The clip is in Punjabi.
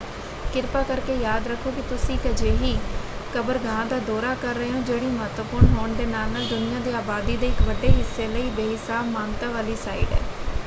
ਕਿਰਪਾ ਕਰਕੇ ਯਾਦ ਰੱਖੋ ਕਿ ਤੁਸੀਂ ਇੱਕ ਅਜਿਹੀ ਕਬਰਗਾਹ ਦਾ ਦੌਰਾ ਕਰ ਰਹੇ ਹੋ ਜਿਹੜੀ ਮਹੱਤਵਪੂਰਨ ਹੋਣ ਦੇ ਨਾਲ ਨਾਲ ਦੁਨੀਆਂ ਦੀ ਆਬਾਦੀ ਦੇ ਇੱਕ ਵੱਡੇ ਹਿੱਸੇ ਲਈ ਬੇਹਿਸਾਬ ਮਾਨਤਾ ਵਾਲੀ ਸਾਈਟ ਹੈ।